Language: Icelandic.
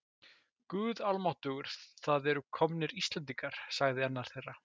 Guð almáttugur, það eru komnir Íslendingar, sagði annar þeirra.